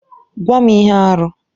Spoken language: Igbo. Gwa m ihe arụ!